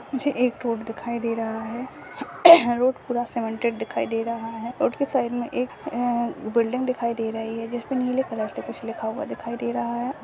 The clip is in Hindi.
मुझे एक रोड दिखाई दे रहा हैं रोड पूरा सीमेंटेड दिखाई दे रहा हैं रोड के साइक में एक ऐ बिल्डिंग दिखाई दे रही हैं जिसपे नीले कलर से कुछ लिखा हुआ दिखाई दे रहा हैं।